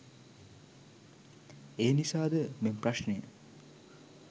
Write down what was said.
එනිසා ද මෙම ප්‍රශ්නය